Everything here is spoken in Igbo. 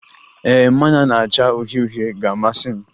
Ee, mmanya na-acha uhie uhie ga-amasị m.